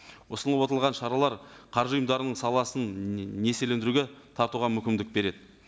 ұсынылып отырған шаралар қаржы ұйымдарының саласын несиелендіруге тартуға мүмкіндік береді